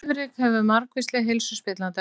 Svifryk hefur margvísleg heilsuspillandi áhrif